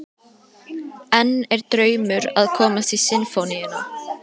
En er draumur að komast í Sinfóníuna?